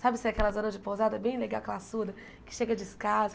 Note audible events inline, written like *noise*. Sabe *unintelligible* aquelas zonas de pousada, bem legal, aquela, *unintelligible* que chega